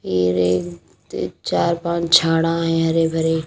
ये एक चार पाँच झाड़ा हैं हरे भरे।